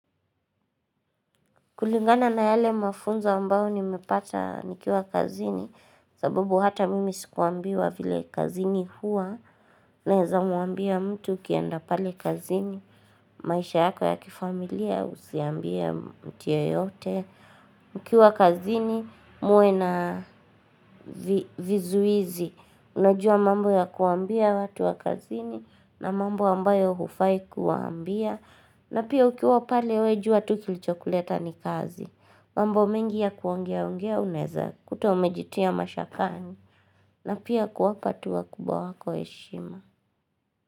Kulingana na yale mafunzo ambao nimepata nikiwa kazini. Sabubu hata mimi sikuambiwa vile kazini hua. Naeza mwambia mtu ukienda pale kazini. Maisha yako ya kifamilia usiambie mtu yeyote. Ukiwa kazini muwe na vizuizi. Unajua mambo ya kuambia watu wa kazini. Na mambo ambayo hufai kuwambia. Na pia ukiwa pale we jua tu kilichokuleta ni kazi. Mambo mingi ya kuongea ongea unaeza kuta umejitia mashakani na pia kuwapa tu wakubwa wako heshima.